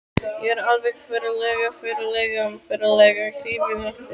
Ég er alveg ferlega, ferlega, ferlega hrifinn af þér.